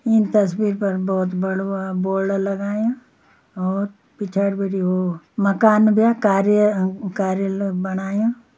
ईं तस्वीर पर बहौत बडू बोर्ड लगायां और पिछाड़ी भीटी वो माकन ब्य कार्य कार्यालय बणायूँ।